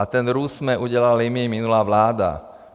A ten růst jsme udělali my, minulá vláda.